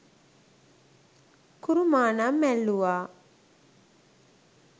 කුරුමානම් ඇල්ලූවා